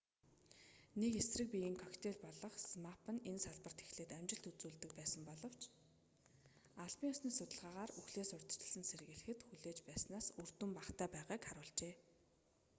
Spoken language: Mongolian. нэг эсрэг биеийн коктейл болох змапп нь энэ салбарт эхлээд амжилт үзүүлж байсан боловч албан ёсны судалгаагаар үхлээс урьдчилан сэргийлэхэд хүлээж байснаас үр дүн багатай байгааг харуулжээ